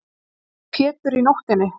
kallar Pétur í nóttinni.